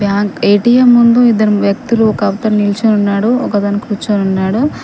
Bank ATM ముందు ఇద్దరు వ్యక్తులు ఒక అతను నిల్చొని ఉన్నాడు ఒక అతను కుర్చొనున్నాడు.